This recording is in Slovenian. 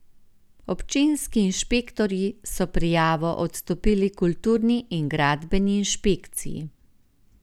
Občinski inšpektorji so prijavo odstopili kulturni in gradbeni inšpekciji.